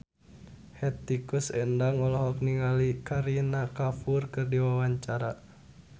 Hetty Koes Endang olohok ningali Kareena Kapoor keur diwawancara